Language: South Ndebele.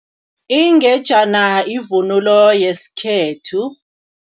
Ingejana yivunulo yesikhethu.